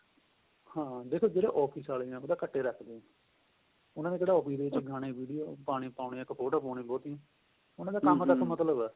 ਹਾਂ ਦੇਖੋ ਜਿਹੜੇ office ਵਾਲੇ ਨੇ ਉਹ ਤਾਂ ਘੱਟ ਏ ਰੱਖਦੇ ਨੇ ਉਹਨਾ ਨੇ ਕਿਹੜਾ office ਦੇ ਗਾਣੇ video ਪਾਉਣੇ ਇੱਕ ਫ਼ੋਟੋ ਪਾਉਣੀ ਬਹੁਤੀ ਉਹਨਾ ਦਾ ਕੰਮ ਤੱਕ ਮਤਲਬ ਏਹ